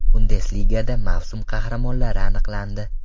Bundesligada mavsum qahramonlari aniqlandi.